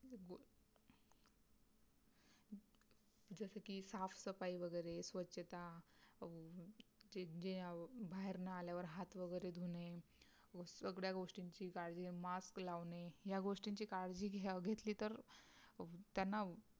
जस की साफ़ सफाई वगैरे स्वच्छता अं जे गे अं बाहेरुन आल्यावर हाथ वगैरे धुवणे, उघड्या गोष्टींची काळजी mask लावणे ह्या गोष्टींची काळजी घ्यावं घेतली तर त्यांना